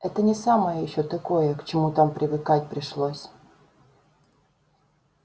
это не самое ещё такое к чему там привыкать пришлось